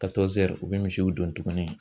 Ka u bɛ misiw don tugunni.